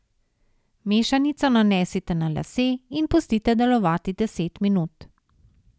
Mešanico nanesite na lase in pustite delovati deset minut.